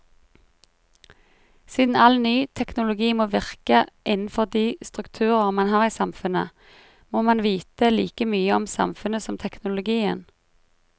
Siden all ny teknologi må virke innenfor de strukturer man har i samfunnet, må man vite like mye om samfunnet som teknologien.